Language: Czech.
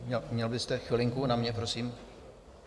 Měl byste chvilinku na mě, prosím?